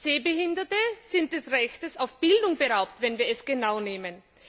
Sehbehinderte sind des Rechtes auf Bildung beraubt, wenn wir es genau nehmen.